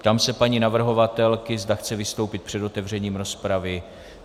Ptám se paní navrhovatelky, zda chce vystoupit před otevřením rozpravy.